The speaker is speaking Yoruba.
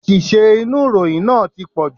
Àṣìṣe inú ìròyìn náà tí pọ̀jù.